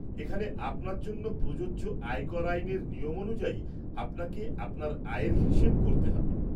এখানে আপনার জন্য প্রযোজ্য আয়কর আইনের নিয়ম অনুযায়ী আপনাকে আপনার আয়ের হিসেব করতে হবে।